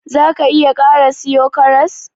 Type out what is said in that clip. Za ka / ki iya kara siyo karas?